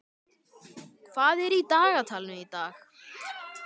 Jarún, hvað er í dagatalinu í dag?